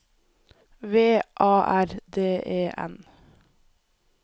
V A R D E N